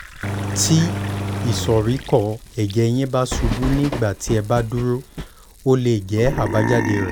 tí ìsoríkọ́ ẹ̀jẹ̀ yín bá ṣubú nígbà tí ẹ bá dúró ó lè jẹ́ àbájáde rẹ̀